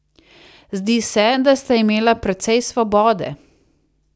Zdi se, da sta imela precej svobode ...